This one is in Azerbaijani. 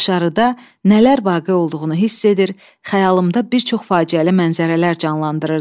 Dışarıda nələr vaqe olduğunu hiss edir, xəyalımda bir çox faciəli mənzərələr canlandırırdım.